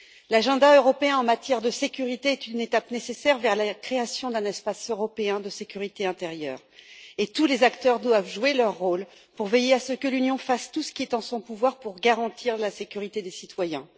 L'agenda européen en matière de sécurité est une étape nécessaire vers la création d'un espace européen de sécurité intérieure et tous les acteurs doivent jouer leur rôle pour veiller à ce que l'Union fasse tout ce qui est en son pouvoir pour garantir la sécurité des citoyens.